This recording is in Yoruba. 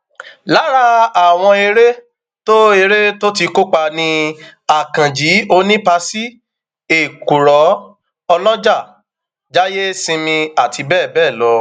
lára àwọn ère tó ère tó ti kópa ni akànji onípasí ẹkúrò ọlọjà jáìyèsìnmi àti bẹẹ bẹẹ lọ